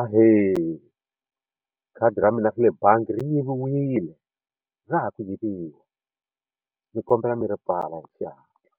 Ahee khadi ra mina ra le bangi ri yiviwile ra ha ku yiviwa ni kombela mi ri pfala hi xihatla